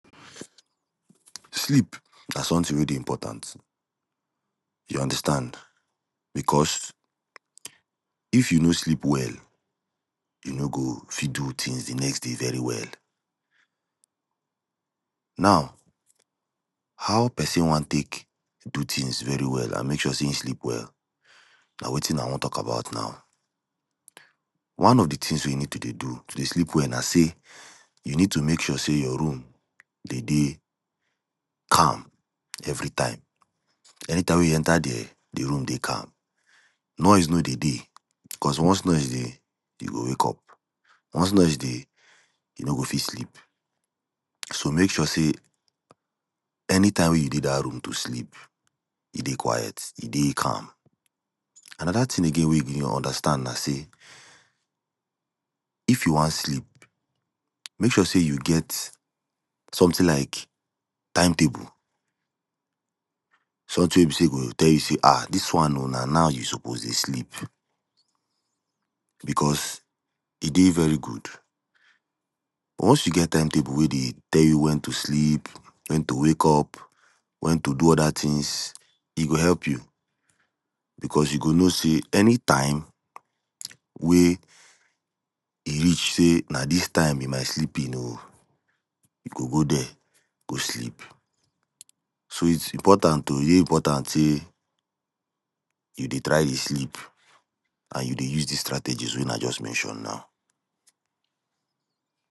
sleep na somtin wey dey impotant you understand bicos if you no sleep well you no go fit do tins di next day very well. now how pesin wan take do tins very well and make sure say e sleep well na wetin i wan tok about now. one of di tins wey you need to dey do to dey sleep well na say, you need to make sure your room dey dey calm evritime, anytime wey you enta there di room dey calm. Noise no dey dey cos once noise dey you go wake up once noise dey you no go fit sleep. So make sure say anytime wey you dey dat room to sleep e dey quiet e dey calm. Anoda tin again wey you go understand na say if you wan sleep make sure say you get somtin like timetable somtin wey be say e go dey tell you say um dis one o na now you supose dey sleep bicos e dey very good. Once you get timetable wey dey tell you wen to sleep wen to wake up wen to do oda tins e go help you bicos you go know say anytime, wey e reach say na dis time be my sleeping o you go go there go sleep. So is impotant o e dey impotant say you dey try dey sleep and you dey use dis strategies wey i just mention now.